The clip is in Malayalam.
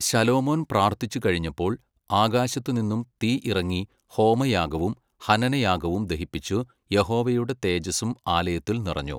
ശലോമോൻ പ്രാർത്ഥിച്ചു കഴിഞ്ഞപ്പോൾ ആകാശത്തുനിന്നു തീ ഇറങ്ങി ഹോമയാഗവും ഹനനയാഗവും ദഹിപ്പിച്ചു യഹോവയുടെ തേജസ്സും ആലയത്തിൽ നിറഞ്ഞു.